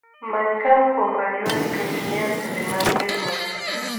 many koa kuom raywa nikech nyiew sende mag bek muffins